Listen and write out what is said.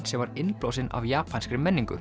sem var innblásinn af japanskri menningu